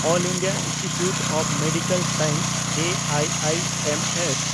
Ol India Institute of Medical Science (ᱮᱟᱭᱟᱭᱮᱢᱮᱥ)